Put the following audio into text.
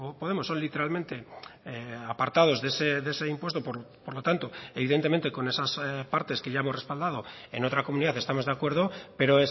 podemos son literalmente apartados de ese impuesto por lo tanto evidentemente con esas partes que ya hemos respaldado en otra comunidad estamos de acuerdo pero